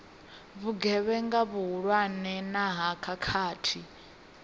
vhugevhenga vhuhulwane na ha khakhathi